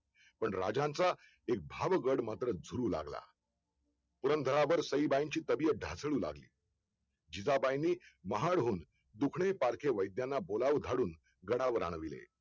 पण राजांचा एक भाव गड मात्र झुरू लागला पुरंदरावर साई बाईंची तब्येत ढासू लागली जिजाबाईंनी महाडहुन दुकडे पारखे वैद्यांना बोलावं धाडून गडावर आणले